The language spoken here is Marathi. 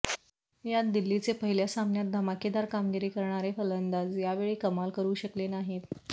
यात दिल्लीचे पहिल्या सामन्यात धमाकेदार कामगिरी करणारे फलंदाज यावेळी कमाल करु शकले नाहीत